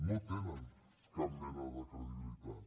no tenen cap mena de credibilitat